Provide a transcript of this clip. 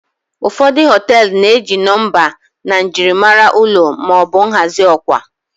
ụfọdụ họtelu na-eji nọmba na njirimara ụlọ ma ọ bụ nhazi ọkwa